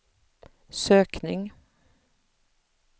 sökning